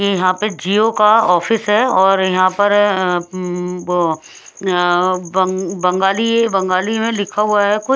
यह यहां पर जियो का ऑफिस है और यहां पर अं उम्म वो अं बंग बंगाली है बंगाली में लिखा हुआ है कु--